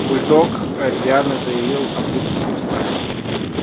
бульдог рьяно завилял обрубком хвоста